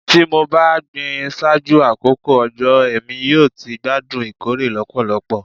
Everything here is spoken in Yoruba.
Ti mo ba gbin ṣaaju akoko ojo Emi yoo ti gbadun ikore lọpọlọpọ